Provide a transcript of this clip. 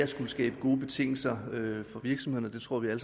skal skabes gode betingelser for virksomhederne det tror jeg